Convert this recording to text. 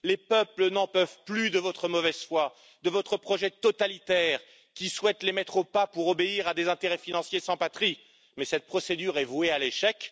Les peuples n'en peuvent plus de votre mauvaise foi et de votre projet totalitaire qui souhaite les mettre au pas pour obéir à des intérêts financiers sans patrie, et cette procédure est vouée à l'échec.